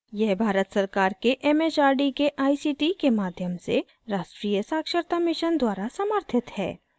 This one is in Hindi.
यह भारत सरकार के it it आर डी के आई सी टी के माध्यम से राष्ट्रीय साक्षरता mission द्वारा समर्थित है